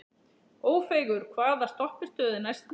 Ófeigur, hvaða stoppistöð er næst mér?